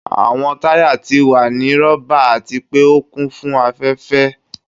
Awọn taya ti wa ni rọba ati pe o kun fun afẹfẹ.